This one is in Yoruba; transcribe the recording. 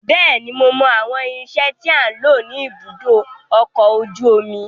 Bẹ́ẹ̀ni, mo mọ àwọn irinsẹ́ tí à ń lò ní ibùdó ọkọ̀ ojú omi.